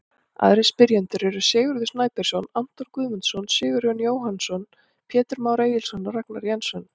Aðrir spyrjendur eru: Sigurður Snæbjörnsson, Anton Guðmundsson, Sigurjón Jóhannsson, Pétur Már Egilsson og Ragnar Jensson.